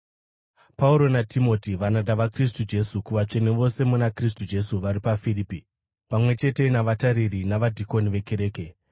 Pauro naTimoti, varanda vaKristu Jesu, kuvatsvene vose muna Kristu Jesu vari paFiripi, pamwe chete navatariri navadhikoni vekereke: